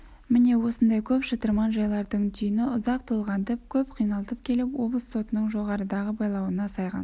міне осындай көп шытырман жайлардың түйіні ұзақ толғантып көп қиналтып келіп облыс сотының жоғарыдағы байлауына сайған